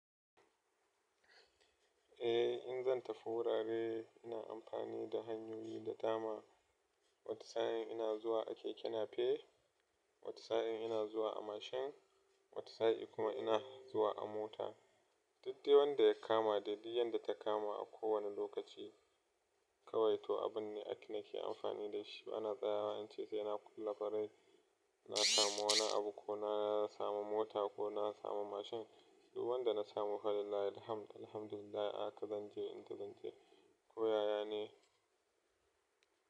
Eh, in zan tafi wurare ina amfani da hanyoyi da dama. Wata sa'in ina zuwa a keke nape, wata sa'in ina zuwa a mashin, wata sa'in kuma ina zuwa a mota. Daddewa da ya kama daɗi, yanda ta kama a kowane lokaci. Kawai to abun ne ake na ke amfani da shi. Ana tsayawa, in ce sai na kula farai. Na samu wani abu ko na samu mota ko na samu mashin. Du wanda na samu fa, Allah yayi hamd, alhamdulillah aka zan je in ta zan je. Koya yana.